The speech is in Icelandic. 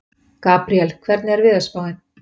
Gabriel, hvernig er veðurspáin?